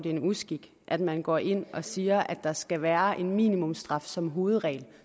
er en uskik at man går ind og siger at der skal være en minimumsstraf som hovedregel og